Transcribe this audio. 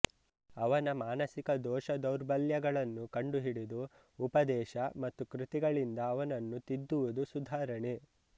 ಅವನ ಮಾನಸಿಕ ದೋಷ ದೌರ್ಬಲ್ಯಗಳನ್ನು ಕಂಡುಹಿಡಿದು ಉಪದೇಶ ಮತ್ತು ಕೃತಿಗಳಿಂದ ಅವನನ್ನು ತಿದ್ದುವುದು ಸುಧಾರಣೆ